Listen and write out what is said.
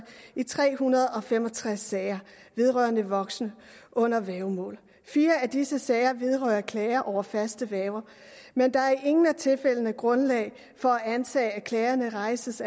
i tre hundrede og fem og tres sager vedrørende en voksen under værgemål fire af disse sager vedrører klager over faste værger men der er i ingen af tilfældene grundlag for at antage at klagen rejses